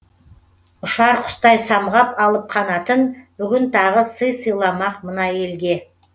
ұшар құстай самғап алып қанатын бүгін тағы сый сыйламақ мына елге